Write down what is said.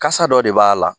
Kasa dɔ de b'a la